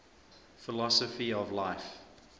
philosophy of life